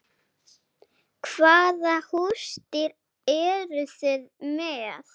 Hvaða húsdýr eru þið með?